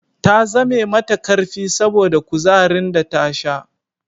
Ta zame mata karfi saboda kuzarin da ta sha